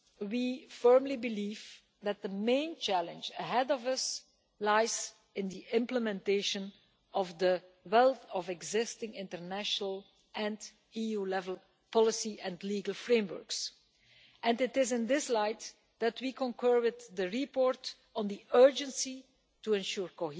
We firmly believe that the main challenge ahead of us lies in the implementation of the wealth of existing international and EU level policy and legal frameworks, and it is in this light that we concur with the report on the urgency of ensuring